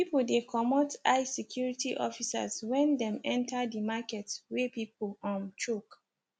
people dey comot eye security officers wen dem enter di market wey pipu um choke